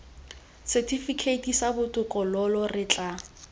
setifikeiti sa botokololo re tla